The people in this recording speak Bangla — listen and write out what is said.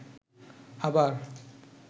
আবার